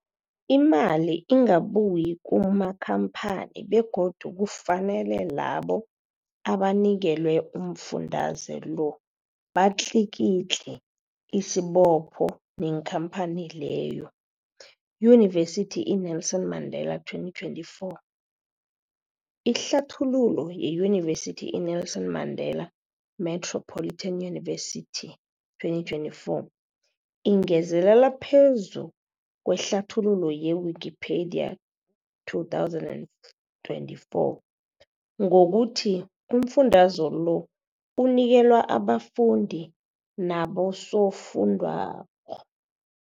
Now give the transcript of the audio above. Imali ingabuyi kumakhamphani begodu kufanele labo abanikelwa umfundaze lo batlikitliki isibopho neenkhamphani leyo, Yunivesity i-Nelson Mandela 2024. Ihlathululo yeYunivesithi i-Nelson Mandela Metropolitan University, 2024, ingezelele phezu kwehlathululo ye-Wikipedia, 2024, ngokuthi umfundaze lo unikelwa abafundi nabosofundwakgho.